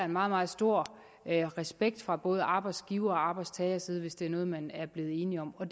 meget meget stor respekt fra både arbejdsgiver og arbejdstagerside hvis det er noget man er blevet enige om og